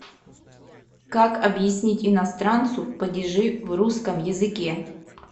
как объяснить иностранцу падежи в русском языке